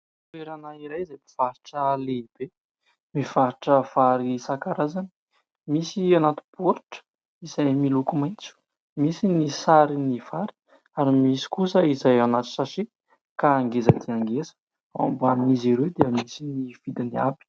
Toerana iray izay mpivarotra lehibe, mivarotra vary isankarazany ; misy anaty baoritra izay miloko maitso, misy ny sarin'ny vary ary misy kosa izay anaty"sachet" ka ngeza dia ngeza, ao ambanin'izy ireo dia misy ny vidiny avy.